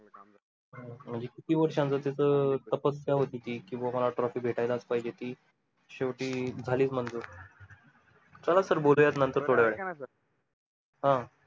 म्हणजे किती वर्षाच अं तपस्या होते कि कि बाबा trophy भेटायलाच पाहिजे ती शेवटी झालीच मंजूर चला sir बोलूया नंतर थोड्या अं